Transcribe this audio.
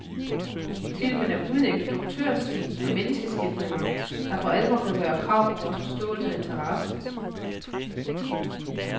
Filmen er uden instruktørstil og menneskeskildringer, der for alvor kan gøre krav på vores forståelse og interesse.